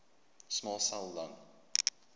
small cell lung